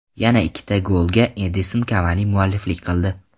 Yana ikkita golga Edinson Kavani mualliflik qildi.